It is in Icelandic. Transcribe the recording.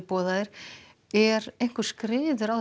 boðaðir er skriður á